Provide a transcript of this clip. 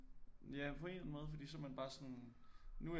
Ja på en måde for så er man bare sådan nu er jeg